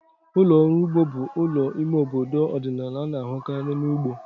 Ụlọ ọrụ ugbo bụ ụlọ ime obodo ọdịnala a na-ahụkarị na ugbo.